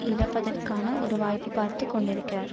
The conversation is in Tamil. இழப்பதற்கான ஒரு வாய்ப்பை பார்த்து கொண்டிருக்கிறார்